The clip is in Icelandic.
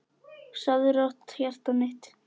Sofðu rótt, hjartað mitt.